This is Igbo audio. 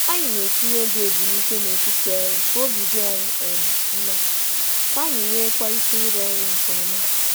Anyị na-etinye oge ezumike nhicha n’etiti ọrụ ka obi dị anyị mma ma ka anyị rụọ ọrụ nke ọma.